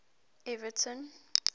everton